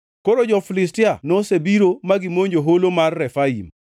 Koro jo-Filistia nosebiro ma gimonjo holo mar Refaim,